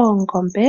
Oongombe